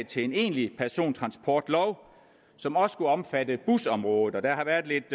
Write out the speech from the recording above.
til en egentlig persontransportlov som også skulle omfatte busområdet der har været lidt